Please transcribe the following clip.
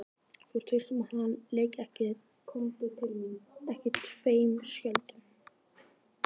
Þú ert viss um að hann leiki ekki tveim skjöldum?